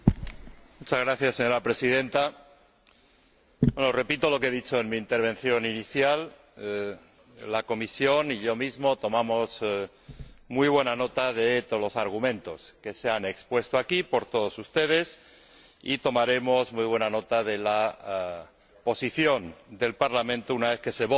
Señora Presidenta, repito lo que he dicho en mi intervención inicial la Comisión y yo mismo tomamos muy buena nota de todos los argumentos que se han expuesto aquí por todos ustedes y tomaremos muy buena nota de la posición del Parlamento una vez que se vote el informe